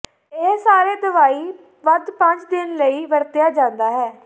ਇਹ ਸਾਰੇ ਦਵਾਈ ਵੱਧ ਪੰਜ ਦਿਨ ਲਈ ਵਰਤਿਆ ਜਾਦਾ ਹੈ